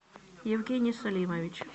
евгений салимович